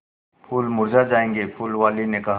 फूल मुरझा जायेंगे फूल वाली ने कहा